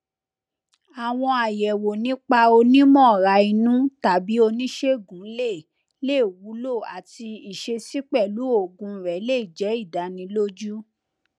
ayẹwo nipasẹ onimọrainu tabi onisegun le le wulo ati iṣesi pẹlu oogun rẹ le jẹ idaniloju